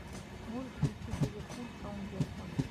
можешь включить ливерпуль саутгемптон